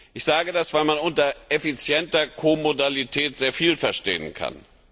Ich sage das, weil man unter effizienter Ko Modalität sehr viel verstehen kann.